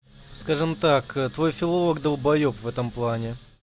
скажем так твой филолог долбаеб в этом плане